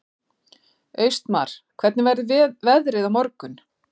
Austmar, hvernig verður veðrið á morgun?